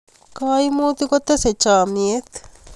kaimutik kotese chamiet